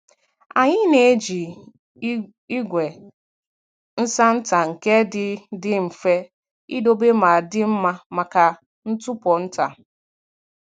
Anyị na-eji igwe nsa nta nke dị dị mfe idobe ma dị mma maka ntụpọ nta.